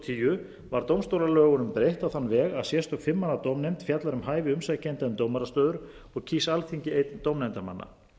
tíu var dómstólalögunum breytt á þann veg að sérstök fimm manna dómnefnd fjallar um hæfi umsækjenda um dómarastöður og kýs alþingi einn dómnefndarmanna